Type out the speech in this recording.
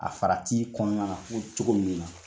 A fara t'i kɔnɔna na ko cogo min na